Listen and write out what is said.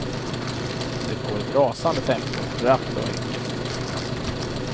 Det går i ett rasande tempo, rappt och enkelt.